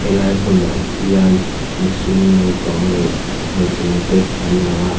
lai hmunah hian mihring naupang leh nutling te an lang a.